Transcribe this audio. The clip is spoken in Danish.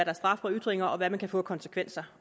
af straf for ytringer og hvad det kan få af konsekvenser